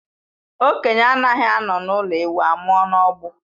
Okenye anaghị anọ n'ụlọ ewu amụọ n'ọgbụ